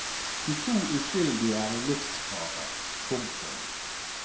De to uskyldige er i livsfare. punktum